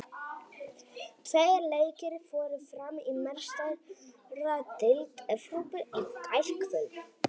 Tveir leikir fóru fram í Meistaradeild Evrópu í gærkvöld.